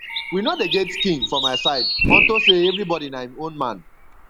we no dey get king for my side unto say everybody na im own man